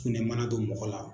Fɔ n'i ye mana don mɔgɔ la.